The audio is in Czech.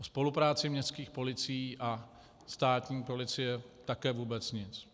O spolupráci městských policí a státní policie také vůbec nic.